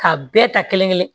K'a bɛɛ ta kelen kelen